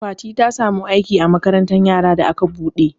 Fati ta samu aiki a makarantar yara da aka buɗe.